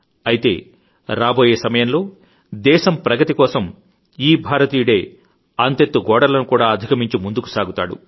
అయితే రాబోయే సకాలంలో దేశం ప్రగతి కోసం ఈ భారతీయుడే అంతెత్తు గోడలను కూడా అధికమించి ముందుకుసాగుతాడు